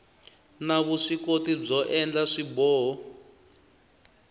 na vuswikoti byo endla swiboho